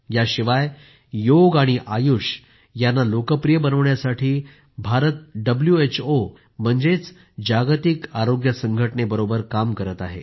याशिवाय योग आणि आयुष यांना लोकप्रिय बनविण्यासाठी भारत डब्ल्यूएचओ म्हणजेच जागतिक आरोग्य संघटनेबरोबर काम करीत आहे